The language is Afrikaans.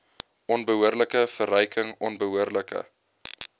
onbehoorlike verryking onbehoorlike